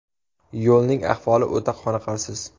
Yo‘lning ahvoli o‘ta qoniqarsiz.